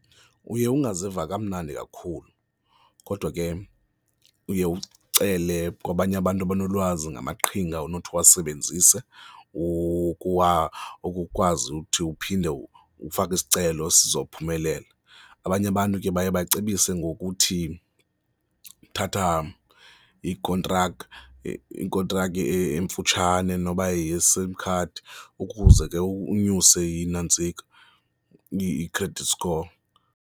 Uye ungaziva kamnandi kakhulu kodwa ke uye ucele kwabanye abantu abanolwazi ngamaqhinga onothi uwasebenzise ukukwazi uthi uphinde ufake isicelo esizawuphumelela. Abanye abantu ke baye bacebise ngokuthi uthatha ikontraki, ikontraka emfutshane noba yeyeSIM card ukuze ke unyuse intsika, i-credit score.